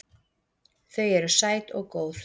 Þau eru sæt og góð.